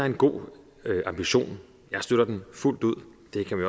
en god ambition jeg støtter den fuldt ud